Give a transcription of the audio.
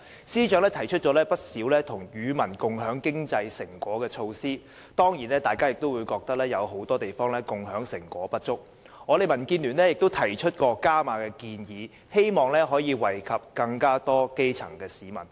司長提出了不少與民共享經濟成果的措施，大家當然覺得有很多地方共享成果不足，所以我們民建聯提出了"加碼"建議，希望可以惠及更多基層市民。